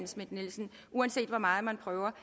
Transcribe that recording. schmidt nielsen uanset hvor meget man prøver